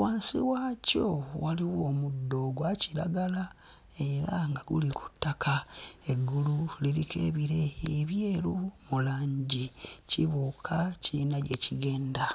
Wansi waakyo waliwo omuddo ogwa kiragala era nga guli ku ttaka. Eggulu liriko ebire ebyeru mu langi kibuuka kiyina gye kigenda.